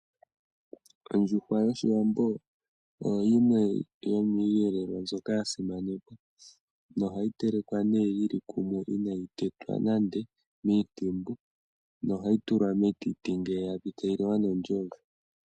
Ondjuhwa yoshiwambo oyo yimwe yomi yelelwa mbyoka yasimanekwa nohayi telekwa ne yili kumwe inayi tetwa nande miintimbu nohayi tulwa metiti ngele yapi etayi liwa nondjove.